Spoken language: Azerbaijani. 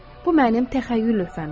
Bu mənim təxəyyül lövhəmdir.